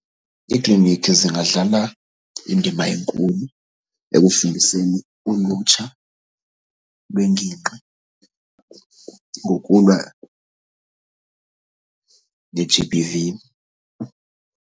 Iikliniki zingadlala indima enkulu ekufundiseni ulutsha lwengingqi ngokulwa ne-G_B_V.